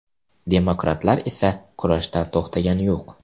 Demokratlar esa kurashdan to‘xtagani yo‘q.